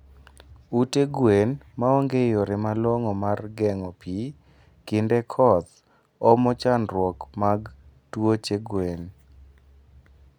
Ute gwen maonge yore malongo mar gengo pii kinde koth omo andruok mag tuoche gwen